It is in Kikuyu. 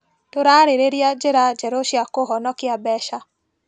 Tũrarĩrĩria njĩra njerũ cia kũhonokia mbeca.